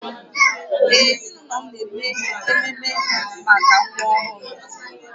Ee, ezinụlọ m na-eme ememe mbata nwa ọhụrụ